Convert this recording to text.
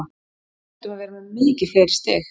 Við ættum að vera með mikið fleiri stig.